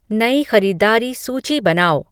नई ख़रीदारी सूची बनाओ